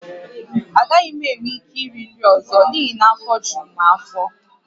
Agaghị m enwe ike iri nri ọzọ n’ihi na afọ juru m afọ